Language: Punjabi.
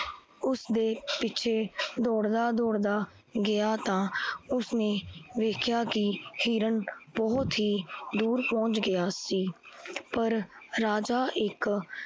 ਉਸ ਦੇ ਪਿੱਛੇ ਦੋਦੜਾ-ਦੋਦੜਾ ਗਿਆ ਤਾਂ ਉਸ ਨੇ ਵੇਖਿਆ ਕੀ ਹਿਰਨ ਬਹੁਤ ਹੀ ਦੂਰ ਪੌਨਚ ਗਿਆ ਸੀ। ਪਰ ਰਾਜਾ ਇੱਕ